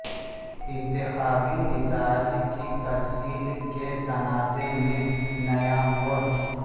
انتخابی نتائج کی ترسیل کے تنازع میں نیا موڑ